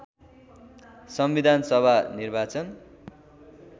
संविधान सभा निर्वाचन